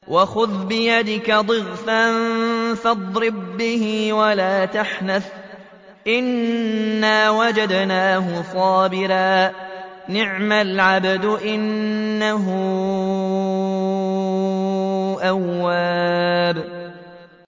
وَخُذْ بِيَدِكَ ضِغْثًا فَاضْرِب بِّهِ وَلَا تَحْنَثْ ۗ إِنَّا وَجَدْنَاهُ صَابِرًا ۚ نِّعْمَ الْعَبْدُ ۖ إِنَّهُ أَوَّابٌ